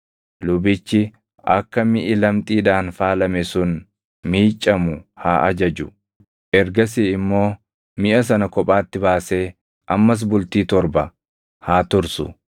lubichi akka miʼi lamxiidhaan faalame sun miiccamu haa ajaju. Ergasii immoo miʼa sana kophaatti baasee ammas bultii torba haa tursu.